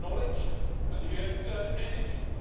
You had knowledge and you had attitude.